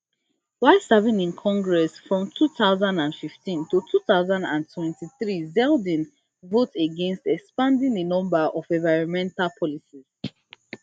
while serving in congress from two thousand and fifteen to two thousand and twenty-three zeldin vote against expanding a number of environmental policies